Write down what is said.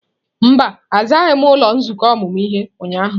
Mba, azaghị m ụlọ nzukọ ọmụmụ ihe ụnyahụ.